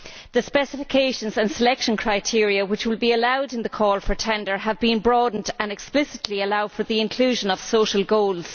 The specifications and selection criteria which will be allowed in the calls for tender have also been broadened and explicitly allow for the inclusion of social goals.